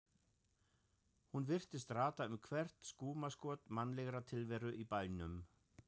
Hún virtist rata um hvert skúmaskot mannlegrar tilveru í bænum.